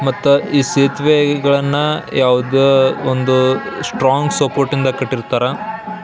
ಮತ್ತ ಈ ಸೇತುವೆ ಗಳನ್ನ ಯಾವದೇ ಒಂದು ಸ್ಟ್ರಾಂಗ್ ಸಪೋರ್ಟ್ ಇಂದ ಕಟ್ಟಿರ್ತಾರೆ.